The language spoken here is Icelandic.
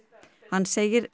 hann segir